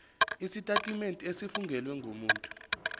isitetimente esifungelwe ngumuntu